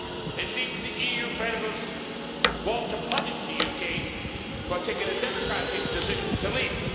It seems the EU federalists want to punish the UK for taking a democratic decision to leave.